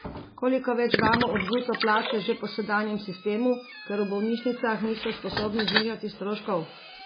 Koliko več damo od bruto plače že po sedanjem sistemu, ker v bolnišnicah niso sposobni znižati stroškov?